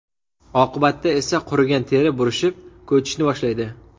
Oqibatda esa qurigan teri burishib, ko‘chishni boshlaydi.